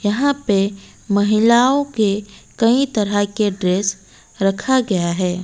यहां पे महिलाओं के कई तरह के ड्रेस रखा गया हैं।